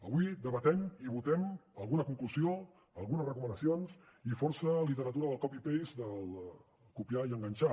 avui debatem i votem alguna conclusió algunes recomanacions i força literatura del copy paste del copiar i enganxar